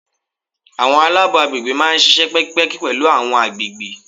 Àwọn alabo àgbègbè máa ń ṣíṣe pẹ́kípẹ́kí pẹ̀lú àwọn àgbègbè.